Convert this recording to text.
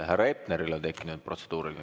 Härra Hepneril on tekkinud protseduuriline.